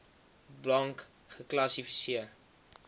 blank geklassi seer